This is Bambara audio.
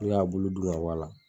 N'u y'a bulu dun ka bɔ a la